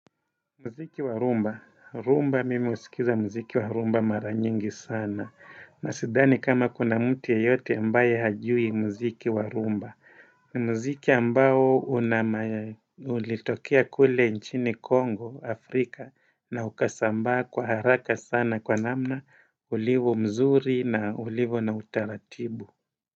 Mziki wa rumba, rumba mimi husikiza mziki wa rumba maranyingi sana na sidhani kama kuna mtu yeyote ambaye hajui mziki wa rumba mziki ambao ulitokea kule nchini Congo, Afrika na ukasambaa kwa haraka sana kwa namna ulivyo mzuri na ulivyo na utaratibu.